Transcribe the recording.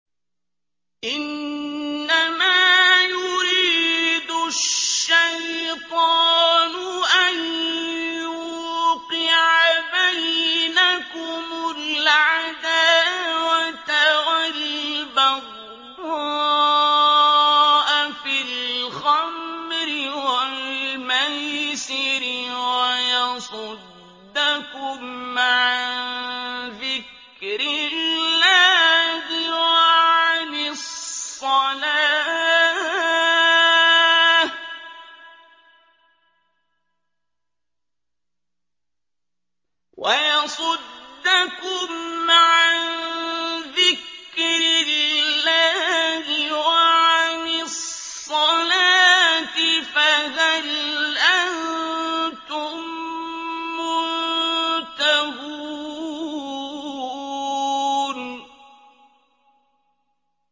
إِنَّمَا يُرِيدُ الشَّيْطَانُ أَن يُوقِعَ بَيْنَكُمُ الْعَدَاوَةَ وَالْبَغْضَاءَ فِي الْخَمْرِ وَالْمَيْسِرِ وَيَصُدَّكُمْ عَن ذِكْرِ اللَّهِ وَعَنِ الصَّلَاةِ ۖ فَهَلْ أَنتُم مُّنتَهُونَ